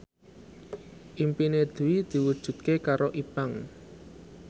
impine Dwi diwujudke karo Ipank